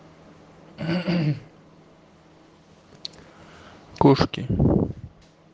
угум кошки